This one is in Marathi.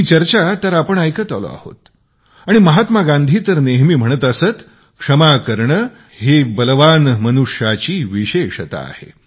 ही चर्चा तर आपण ऐकत आलो आहोत आणि महात्मा गांधी तर नेहमी म्हणत असत क्षमा करणे ही बलवान मनुष्याची विशेषता आहे